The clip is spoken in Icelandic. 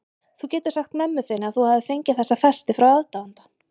Þú getur sagt mömmu þinni að þú hafir fengið þessa festi frá aðdáanda.